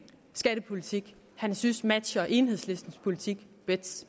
skattepolitik han synes matcher enhedslistens politik